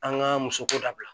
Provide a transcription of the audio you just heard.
An ka musoko dabila